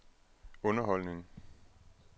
underholdning